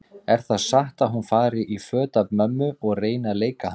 Er það satt að hún fari í föt af mömmu og reyni að leika hana?